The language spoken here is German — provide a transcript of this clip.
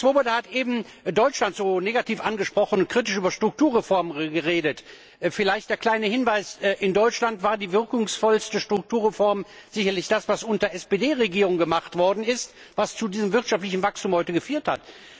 Herr Swoboda hat eben Deutschland so negativ angesprochen und kritisch über Strukturreformen geredet. Vielleicht ein kleiner Hinweis In Deutschland war die wirkungsvollste Strukturreform sicherlich das, was unter einer SPD Regierung gemacht worden ist, was zu diesem wirtschaftlichen Wachstum heute geführt hat.